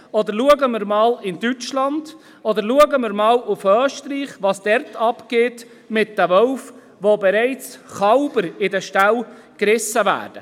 Schauen wir einmal in Deutschland oder in Österreich, was dort mit den Wölfen abgeht und wo bereits Kälber in den Ställen gerissen werden.